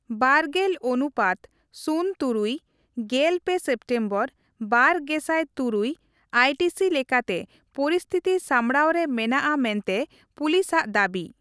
ᱵᱟᱨᱜᱮᱞ ᱚᱱᱩᱯᱟᱛ ᱥᱩᱱ ᱛᱩᱨᱩᱭ, ᱜᱮᱞ ᱯᱮ ᱥᱮᱯᱴᱮᱢᱵᱚᱨ, ᱵᱟᱨ ᱜᱮᱥᱟᱭ ᱛᱩᱨᱩᱭ (ᱤᱭᱴᱤᱥᱤ) ᱞᱮᱠᱟᱛᱮ ᱯᱚᱨᱤᱥᱛᱷᱤᱛᱤ ᱥᱟᱢᱵᱽᱲᱟᱣ ᱨᱮ ᱢᱮᱱᱟᱜᱼᱟ ᱢᱮᱱᱛᱮ ᱯᱩᱞᱤᱥ ᱟᱜ ᱫᱟᱹᱵᱤ ᱾